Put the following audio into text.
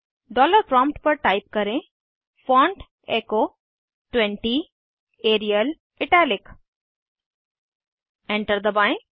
dollar prompt पर type करें font echo 20 Arial italic enter दबाएं